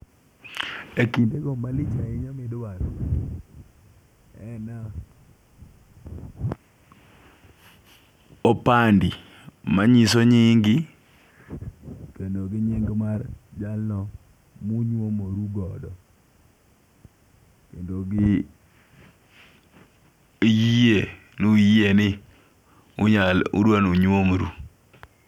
E kinde go malich ahinya midwaro en opande manyiso nyingi kendo gi nying mar jalno munyuomoru godo kendo gi giyie, nuyie ni unyalo udwanu nyuom ru.